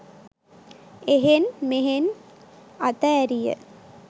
එහෙන් මෙහෙන් අත ඇරිය